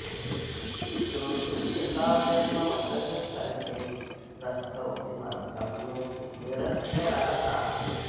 श्रोतुं च काव्यं मम सन्निकर्षे तस्थौ किमर्थं नु निरक्षरा सा